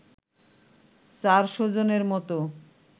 চারশো জনের মতো